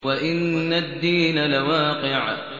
وَإِنَّ الدِّينَ لَوَاقِعٌ